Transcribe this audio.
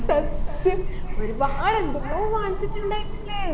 സത്യം ഒരുപാട് എന്തെല്ലോ വാങ്ങിച്ചിട്ടുണ്ടയിനല്ലേ